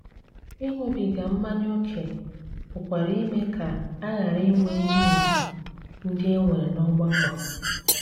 Ịṅụbiga mmanya ókè pụkwara ime ka a ghara inwe ihe ùgwù ndị e nwere n'ọgbakọ.